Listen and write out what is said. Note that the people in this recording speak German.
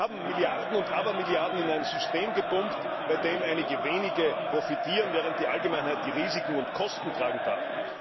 Wir haben Milliarden und Abermilliarden in ein System gepumpt, von dem einige wenige profitieren, während die Allgemeinheit die Risiken und Kosten tragen darf.